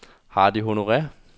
Hardy Honore